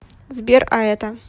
сбер а это